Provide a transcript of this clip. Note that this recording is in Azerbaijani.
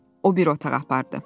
O bir otağa apardı.